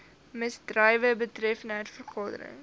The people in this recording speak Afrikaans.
misdrywe betreffende vergaderings